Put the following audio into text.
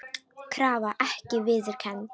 Krafa ekki viðurkennd